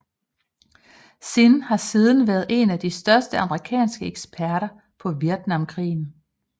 Zinn har siden været en af de største amerikanske eksperter på Vietnamkrigen